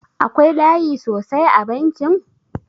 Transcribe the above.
Akwai layi sosai a bankin?